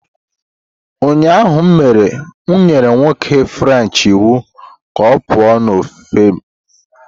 Ụnyahụ m nyere nwoke french iwu ka ọ pụọ n'ọfịs m